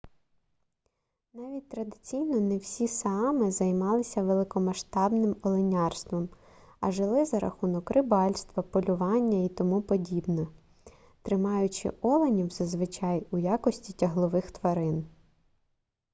навіть традиційно не всі саами займалися великомасштабним оленярством а жили за рахунок рибальства полювання і т п тримаючи оленів зазвичай у якості тяглових тварин